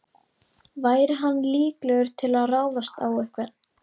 Væri hann líklegur til að ráðast á einhvern?